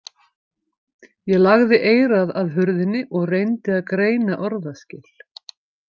Ég lagði eyrað að hurðinni og reyndi að greina orðaskil.